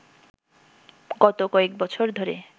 গত কয়েক বছর ধরে